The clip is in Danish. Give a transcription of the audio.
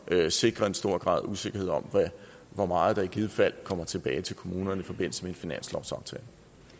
der sikrer en stor grad af usikkerhed om hvor meget der i givet fald kommer tilbage til kommunerne i forbindelse med finanslovsaftalen